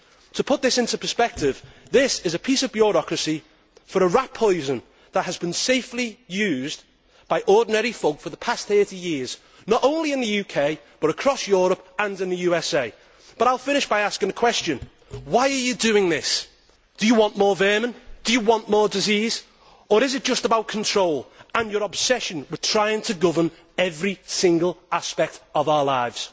To put this into perspective, this is a piece of bureaucracy for a rat poison that has been safely used by ordinary folk for the past 30 years not only in the UK, but across Europe and in the USA. I will finish by asking a question. Why are you doing this? Do you want more vermin? Do you want more disease? Or is it just about control and your obsession with trying to govern every single aspect of our lives?